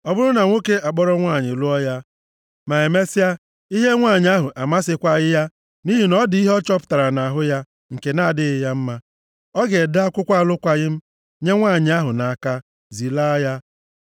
Ọ bụrụ na nwoke akpọrọ nwanyị, lụọ ya, ma emesịa ihe nwanyị ahụ amasịkwaghị ya nʼihi na ọ dị ihe ọ chọpụtara nʼahụ ya nke na-adịghị mma, ọ ga-ede akwụkwọ alụkwaghị m nye nwanyị ahụ nʼaka, zilaa ya.